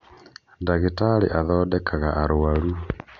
Ndagitarĩ athondekaga arũaru